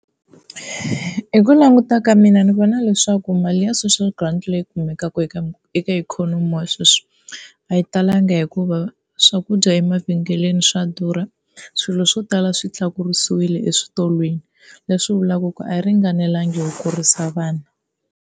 Hi ku languta ka mina ni vona leswaku mali ya social grant leyi kumekaka eka eka ikhonomi ya sweswi a yi talanga hikuva swakudya emavhengeleni swa durha, swilo swo tala swi tlakusiwile eswitolweni leswi vulaka ku a yi ringanelanga ku kurisa vana.